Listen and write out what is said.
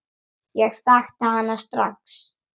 Ég þekkti hana strax.